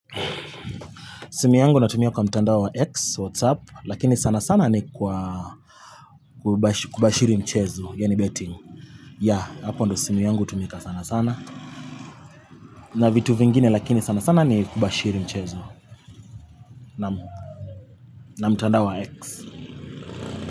Simu yangu natumia kwa mtandao wa X, WhatsApp, lakini sana sana ni kwa kubashiri mchezo, ya ni betting. Ya, hapa ndiyo simu yangu hutumika sana sana. Na vitu vingine lakini sana sana ni kubashiri mchezo, na mtandao wa X.